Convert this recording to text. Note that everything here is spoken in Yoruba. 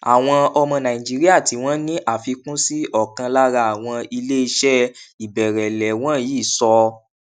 àwọn ọmọ nàìjíríà tí wọn ní àfikún sí ọkan lára àwọn ilé iṣẹ ìbẹrẹlẹ wọnyí sọ